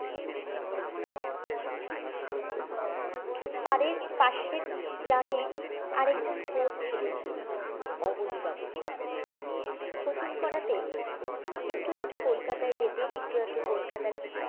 অরে পাশের গ্রামে আরেকজন কোচ ছিলেন অবনী বাবু কোচিং করতে একটু আদটু কলকাতায় যেতেন একটু আদটু কলকাতার